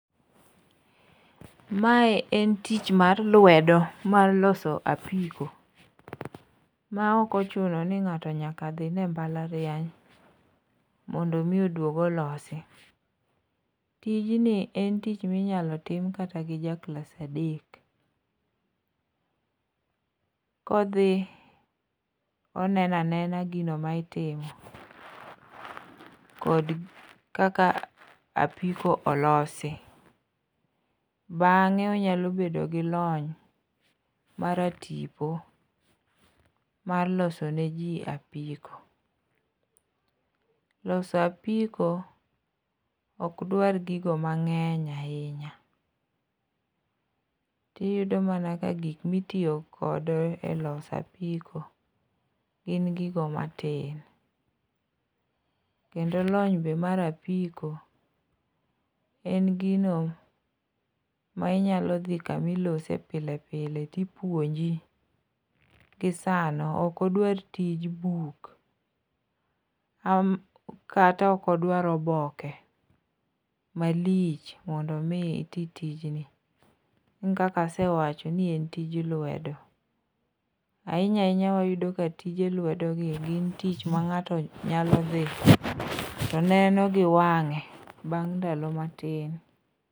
Mae en tich mar lwedo mar loso apiko ma ok ochuno ni ng'ato nyaka dhine e mbalariany mondo omi odwog olosi. Tijni en tich minyalo tim kata gi ja klas adek, kodhi oneno anena gino ma itimo, kod kaka apiko olosi. Bang'e onyalo bedo gi lony mar tipo, mar loso ne ji apiko. Loso apiko ok dwar gigo mang'eny ahinya. Iyudo mana ka gik motiyo kodo e loso apiko gin gigo matin, kendo lony be mar apiko, en gino ma inyalo dhi kama ilose pile pile to ipuonji gi sano. Ok odwar tij buk kata ok odwar oboke malich mondo omi itim tijni. Kaka asewacho ni en tij lwedo, ahinya ahinya wayudo ka tije lwedogi gin tich ma ng'ato nyalo dhi to neno gi wang'e, bang' ndalo matin.